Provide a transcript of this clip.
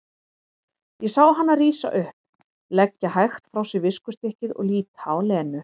Ég sá hana rísa upp, leggja hægt frá sér viskustykkið og líta á Lenu.